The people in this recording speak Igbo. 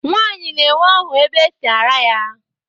Nnwa nwaanyị na-enwe ọhụ ebe e si ara ya